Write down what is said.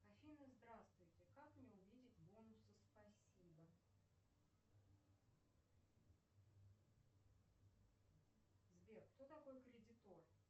афина здравствуйте как мне увидеть бонусы спасибо сбер кто такой кредитор